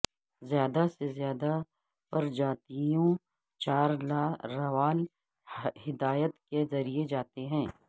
زیادہ سے زیادہ پرجاتیوں چار لاروال ہدایات کے ذریعے جاتے ہیں